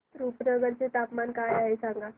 रुपनगर चे तापमान काय आहे सांगा